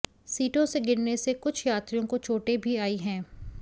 सीटों से गिरने से कुछ यात्रियों को चोटें भी आयी हैं